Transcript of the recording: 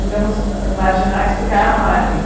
digamos, marginais, porque há margem.